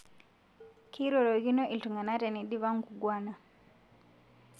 Keirorokino ltungana tenedipa nkugwana